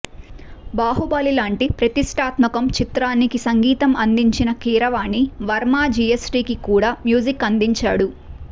బాహుబలి లాంటి ప్రతిష్టాత్మకం చిత్రానికి సంగీతం అందించిన కీరవాణి వర్మ జీఎస్టీకి కూడా మ్యూజిక్ అందించాడు